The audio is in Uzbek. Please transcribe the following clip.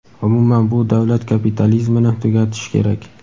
umuman bu davlat kapitalizmini tugatish kerak.